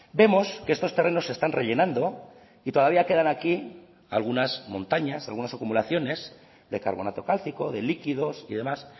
vemos que estos terrenos se están rellenando y todavía quedan aquí algunas montañas algunas acumulaciones de carbonato cálcico de líquidos y demás